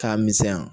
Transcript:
K'a misɛnya